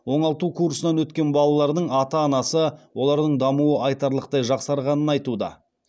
оңалту курсынан өткен балалардың ата анасы олардың дамуы айтарлықтай жақсарғанын айтуда